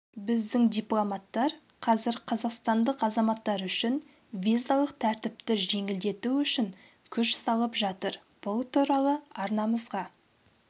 біздің дипломаттар қазір қазақстандық азаматтар үшін визалық тәртіпті жеңілдету үшін күш салып жатыр бұл туралы арнамызға